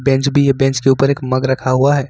Bench भी है bench के ऊपर एक मग रखा हुआ है।